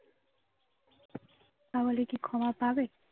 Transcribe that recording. তাহলে কি ক্ষমা পাবে?